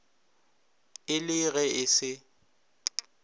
e le ge e se